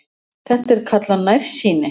Þetta er kallað nærsýni.